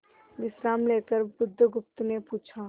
विश्राम लेकर बुधगुप्त ने पूछा